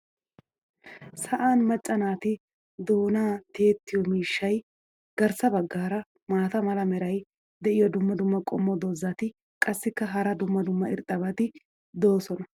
sa'an macca naati doonaa tiyettiyo miishshay garssa bagaara maata mala meray diyo dumma dumma qommo dozzati qassikka hara dumma dumma irxxabati doosona.